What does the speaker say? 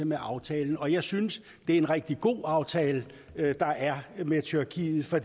med aftalen og jeg synes det er en rigtig god aftale der er med tyrkiet for